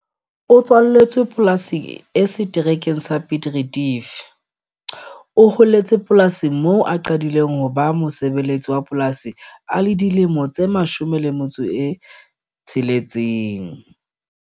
O tswaletswe polasing e seterekeng sa Piet Retief. O holetse polasing moo a qadileng ho ba mosebeletsi wa polasi a le dilemo tse 16.